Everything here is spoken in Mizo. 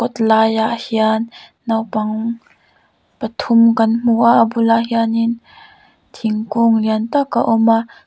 kawtlai ah hian naupang pathum kan hmu a a bulah hianin thingkung lian tak a awm a.